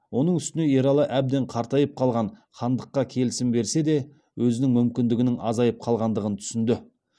оның устіңе ералы әбден қартайып қалған хандыққа келісім берсе де өзінің мүмкіндігінің азайып қалғандығын түсінді